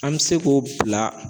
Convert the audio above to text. An bɛ se k'o bila